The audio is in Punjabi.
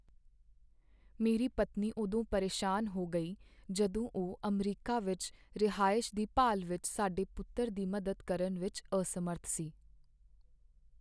ਮੇਰੀ ਪਤਨੀ ਉਦੋਂ ਪਰੇਸ਼ਾਨ ਹੋ ਗਈ ਜਦੋਂ ਉਹ ਅਮਰੀਕਾ ਵਿੱਚ ਰਿਹਾਇਸ਼ ਦੀ ਭਾਲ ਵਿੱਚ ਸਾਡੇ ਪੁੱਤਰ ਦੀ ਮਦਦ ਕਰਨ ਵਿੱਚ ਅਸਮਰੱਥ ਸੀ।